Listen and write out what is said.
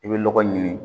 I bɛ lɔgɔ ɲini